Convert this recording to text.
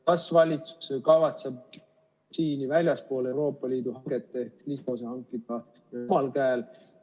Kas valitsus kavatseb väljaspool Euroopa Liidu hankeid mingi osa vaktsiini hankida omal käel?